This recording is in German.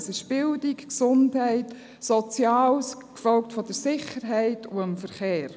Es sind dies Bildung, Gesundheit, Soziales, gefolgt von der Sicherheit und dem Verkehr.